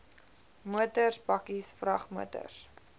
motors bakkies vragmotors